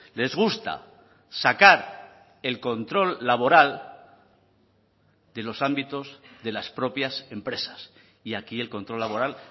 les gusta sacar el control laboral de los ámbitos de las propias empresas y aquí el control laboral